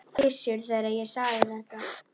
Gissur, þegar ég sagði þetta.